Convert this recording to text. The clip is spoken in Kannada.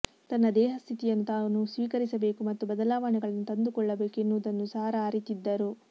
ತನ್ನ ದೇಹಸ್ಥಿತಿಯನ್ನು ತಾನು ಸ್ವೀಕರಿಸಬೇಕು ಮತ್ತು ಬದಲಾವಣೆಗಳನ್ನು ತಂದುಕೊಳ್ಳ ಬೇಕು ಎನ್ನುವುದನ್ನು ಸಾರಾ ಅರಿತಿದ್ದರು